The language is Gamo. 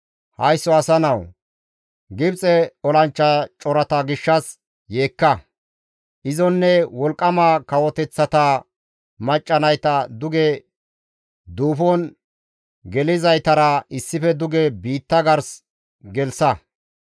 «Haysso asa nawu! Gibxe olanchcha corata gishshas yeekka! Izonne wolqqama kawoteththata macca nayta duge duufon gelizaytara issife duge biitta gars gelththa.